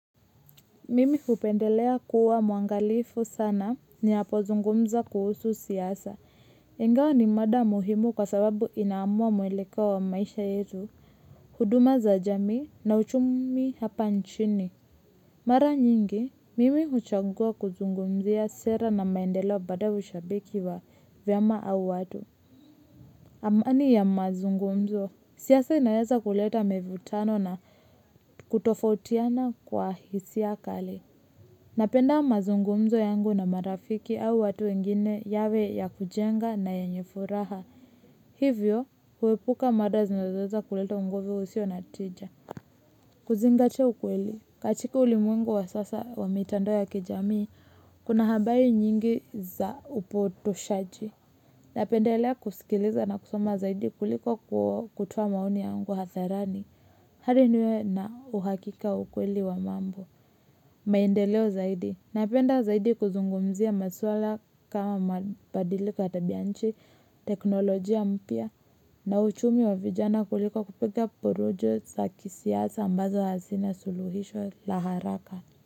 Mimi hupendelea kuwa mwangalifu sana ninapo zungumza kuhusu siasa. Ingawa ni mada muhimu kwa sababu inaamua mwelekeo wa maisha yetu. Huduma za jamii na uchumi hapa nchini. Mara nyingi, mimi huchagua kuzungumzia sera na maendelo badavu shabiki wa vyama au watu. Amani ya mazungumzo. Siasa inaweza kuleta mivutano na kutofautiana kwa hisia kali. Yangu na marafiki au watu wengine yawe ya kujenga na yenye furaha. Hivyo huepuka mada zinazoweza kuleto ungovu usio na tija. Kuzingatia ukweli. Katika ulimwengu wa sasa wa mitandao ya kijamii kuna habari nyingi za upotoshaji. Napendelea kusikiliza na kusoma zaidi kuliko kutoa maoni yangu hadharani. Hadi niwe na uhakika wa ukweli wa mambo. Maendeleo zaidi. Napenda zaidi kuzungumzia maswala kama maadili kwa tabianchi, teknolojia mpya na uchumi wa vijana kuliko kupiga porojo sa kisiasa ambazo hazina suluhisho la haraka.